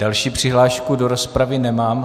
Další přihlášku do rozpravy nemám.